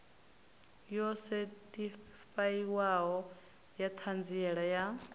yo sethifaiwaho ya ṱhanziela ya